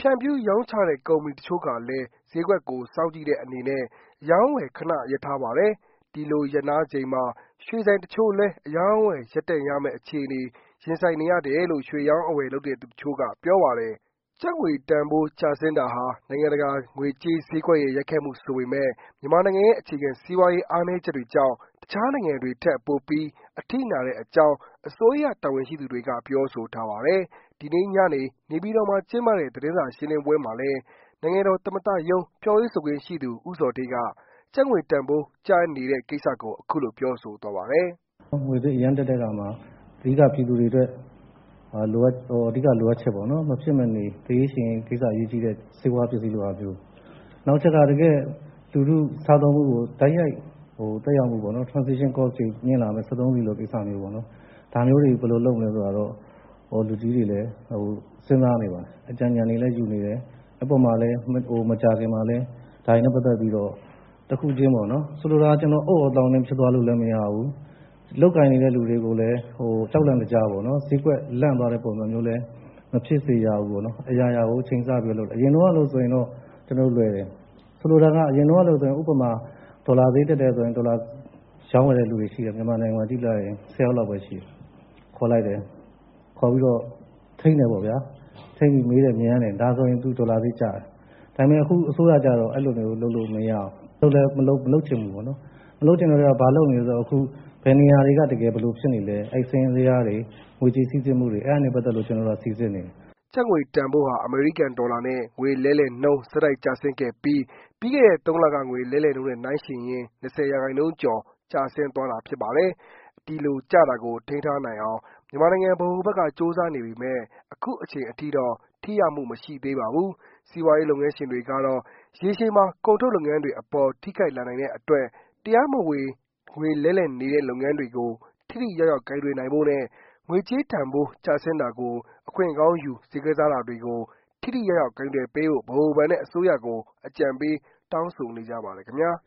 ဖြန့်ဖြူးရောင်းချတဲ့ ကုမ္မဏီတချို့ကလည်း ဈေးကွက်ကို စောင့်ကြည့်တဲ့အနေနဲ့ အရောင်းအဝယ် ခဏရပ်ထားပါတယ်။ ဒီလို ရပ်နားချိန်မှာ ရွှေဆိုင်တချို့လည်း အရောင်းအဝယ် ရပ်တန့်ရမယ့် အခြေအနေ ရင်ဆိုင်နေရတယ်လို့ ရွှေအရောင်းအဝယ်လုပ်သူတချို့က ပြောဆိုတာပါ။ ကျပ်ငွေတန်ဖိုးကျဆင်းတာဟာ နိုင်ငံတကာငွေကြေးဈေးကွက်ရဲ့ ရိုက်ခတ်မှု ဆိုပေမယ့် မြန်မာနိုင်ငံရဲ့ အခြေခံစီးပွားရေး အားနည်းချက်တွေကြောင့် တခြားနိုင်ငံတွေထက် ပိုပြီး အထိနာတဲ့အကြောင်း အစိုးရတာဝန်ရှိသူတွေက ပြောဆိုထားပါတယ်။ ဒီနေ့ ညနေ နေပြည်တော်မှာ ကျင်းပတဲ့သတင်းစာရှင်းလင်းပွဲမှာလည်း နိုင်ငံတော် သမ္မတရုံး ပြောရေးဆိုခွင့်ရှိသူ ဦးဇော်ဌေးက ကျပ်ငွေတန်းဖိုး ကျနေတဲ့ ကိစ္စကို အခုလို ပြောဆိုသွားပါတယ်။ “ငွေဈေးအရမ်းတက်တဲ့အခါမှာ အဓိကပြည်သူတွေအတွက် အဓိကလိုအပ်ချက်ပေါ့နော်။ မဖြစ်မနေလိုအပ်တဲ့ ဆေးဝါးပစ္စည်းလိုဟာမျိုး၊ နောက်တချက်က လူထုစားသောက်မှုကိုတိုက်ရိုက် သက်ရောက်စေမဲ့ Transaction Cost တွေမြင့်လာမယ့် စက်သုံးဆီလိုဟာမျိုးပေါ့နော် ဒါမျိုးတွေကို ဘယ်လိုလုပ်ရမလဲဆိုတာကိုတော့ လူကြီးတွေလည်း စဉ်းစားနေပါတယ်၊ အကြံဉာဏ်တွေလည်းယူနေတယ်။ အဲဒီပေါ်မှာလည်း မကြာခင်မှာလည်း ဒါတွေနဲ့ပက်သက်ပီး တခုချင်း ဆိုလိုတာက အုတ်သြောသောင်းနင်း ဖြစ်သွားလို့လည်း မရဘူး။ လုပ်ကိုင်နေတဲ့သူတွေကိုလည်း ကြောက်လန့်တကြား ဈေးကွက်လန့်သွားမဲ့ ပုံစံမျိုးနဲ့ မဖြစ်စေရဘူး ပေါ့နော်။ အရာရာကိုချိန်ဆပြီးတော့ လုပ်တယ်။ အရင်တုန်းကလိုဆိုရင်တော့ လွယ်တယ်။ အရင်တုန်းကဆိုရင်ဥပမာ ဒေါ်လာဈေးတက်တယ်ဆိုရင် ဒေါ်လာရောင်းဝယ်နေတဲ့သူတွေ မြန်မာနိုင်ငံမှာကြည့်လိုက်ရင် ၁၀ယောက်လောက်ပဲ ရှိတယ်။ အဲဒီလူတွေကို ခေါ်ပီးတော့ ထိန်းတယ်ပေါ့ဗျာ။ ထိန်းပြီး မေးတယ် မြန်းတယ် ဒါဆိုရင် ဒေါ်လာဈေးကျတယ်။ဒါပေမဲ့ အခုအစိုးရကျတော့ အဲ့လိုမျိုး လုပ်လို့မရဖူး။ အဲဒီလိုလဲ မလုပ်ချင်ဘူး ပေါ့နော်။ မလုပ်ချင်တဲ့အတွက်ကြောင့် ဘာလုပ်နေသလဲဆိုတော့အခု ဘယ်နေရာ ဘာတွေဖြစ်နေသလဲဆိုတာ စာရင်းဇယားတွေ ငွေကြေးစီးဆင်းမူတွေ အဲဒါတွေနဲ့ပတ်သက်ပြီးတော့ စီစစ်နေတယ်။” ကျပ်ငွေတန်ဖိုးဟာ အမေရိကန် ဒေါ်လာနဲ့ ငွေလဲနှုန်း ဆက်တိုက်ကျဆင်းခဲ့ပြီး ပြီးခဲ့တဲ့ သုံးလက ငွေလဲနှုန်းနဲ့ နိုင်းယှဉ်ရင်၊ ၂၀ ရာခိုင်နှုန်းကျော် ကျဆင်းသွားတာဖြစ်ပါတယ်။ ဒီလို ကျတာကို ထိန်းထားနိုင်အောင် မြန်မာနိုင်ငံ ဗဟိုဘဏ်က ကြိုးစားနေပေမဲ့ အခုအချိန်အထိတော့ ထိရောက်မှု မရှိသေးပါဘူး။ စီးပွားရေးလုပ်ငန်းရှင်တွေကတော့ ရေရှည်မှာ ကုန်ထုတ်လုပ်ငန်းတွေအပေါ် ထိခိုက်လာနိုင်တဲ့အတွက် တရားမဝင် ငွေလှဲလှယ်နေတဲ့ လုပ်ငန်းတွေကို ထိထိရောက်ရောက် ကိုင်တွယ်ဖို့နဲ့၊ ငွေကျေးတန်ဖိုး ကျဆင်းတာကို အခွင့်ကောင်းယူ ဈေးကစားတာတွေကို ထိထိရောက်ရောက် ကိုင်တွယ်ပေးဖို့ ဗဟိုဘဏ်နဲ့ အစိုးရကို အကြံပေး တောင်းဆိုနေကြပါတယ်ခင်ဗျာ